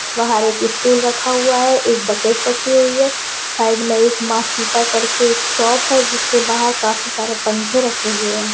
बाहर एक स्टॉल रखा हुआ है एक बकेट रखी हुई है साइड में एक मां सीता करके शॉप है जिससे वहां काफी सारे पंखे रखे हुए है।